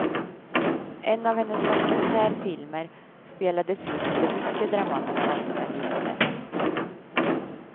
En av hennes dokumentärfilmer spelades in under mycket dramatiska omständigheter.